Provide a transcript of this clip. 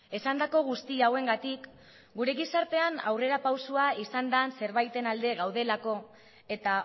esandako guztia hauengatik gure gizartean aurrera pausua izan den zerbaiten alde gaudelako eta